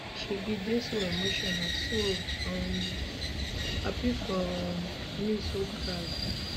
she bin dey so emotional so um happy for um me so proud